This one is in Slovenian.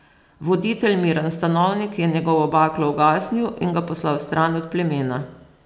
Voditelj Miran Stanovnik je njegovo baklo ugasnil in ga poslal stran od plemena.